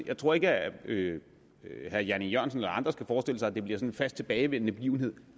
jeg tror ikke at herre jan e jørgensen eller andre skal forestille sig at det bliver sådan en fast tilbagevendende begivenhed